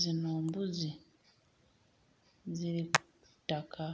Zino mbuzi ziri ku ttaka.